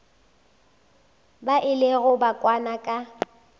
ba ilego ba kwana ka